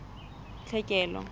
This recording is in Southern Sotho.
tlhekelo